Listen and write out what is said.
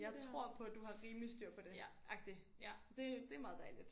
Jeg tror på du har rimelig styr på det agtig. Det det meget dejligt